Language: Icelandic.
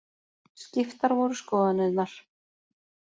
Skiptar voru skoðanirnar.